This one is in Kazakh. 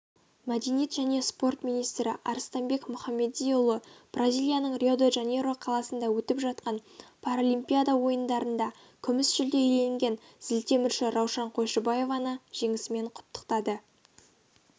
мәдениет және спорт министрі арыстанбек мұхамедиұлы бразилияның рио-де-жанейро қаласында өтіп жатқан паралимпиада ойындарында күміс жүлде иеленген зілтемірші раушан қойшыбаеваны жеңісімен құттықтады